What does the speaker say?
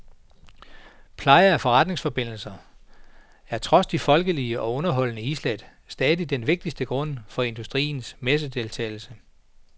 Pleje af forretningsforbindelser er trods de folkelige og underholdende islæt stadig den vigtigste grund for industriens messedeltagelse.